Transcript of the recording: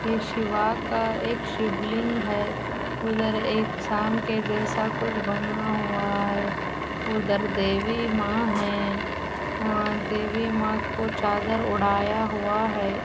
यह शिवा का एक शिवलिंग है। उधर एक शाम के जैसा कुछ बना हुआ है। उधर देवी मां है। वहां देवी मां को चादर ओढ़ाया हुआ है।